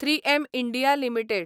३एम India limited